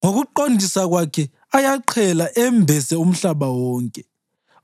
Ngokuqondisa kwakhe ayaqhela embese umhlaba wonke